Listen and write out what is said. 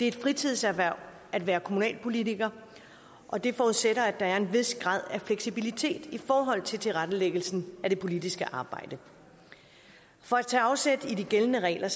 et fritidserhverv at være kommunalpolitiker og det forudsætter at der er en vis grad af fleksibilitet i forhold til tilrettelæggelsen af det politiske arbejde for at tage afsæt i de gældende regler